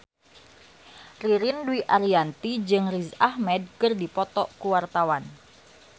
Ririn Dwi Ariyanti jeung Riz Ahmed keur dipoto ku wartawan